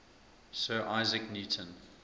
sir isaac newton